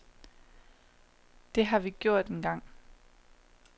Det har vi gjort en gang.